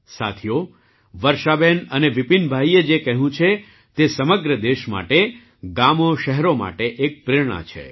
સાથીઓ વર્ષાબેન અને વિપિનભાઈએ જે કહ્યું છે તે સમગ્ર દેશ માટે ગામોશહેરો માટે એક પ્રેરણા છે